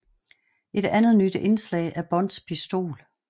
Et andet nyt indslag er Bonds pistol